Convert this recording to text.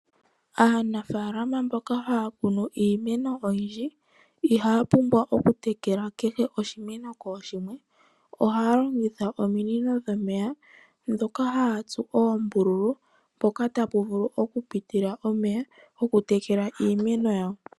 Aanafalama mboka haya kunu iimeno oyindji, ihaya pumbwa okutekela kehe oshimeno kooshimwe. Ohaya longitha ominino dhomeya, dhoka haya tsu oombululu mpoka tapu vulu okupitila omeya okutekela iimeno yawo.